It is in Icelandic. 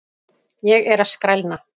Ég er að skrælna!